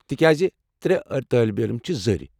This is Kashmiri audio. تِکیٚازِ ترٛےٚ طٲلبہِ علم چھِ زٔرِ۔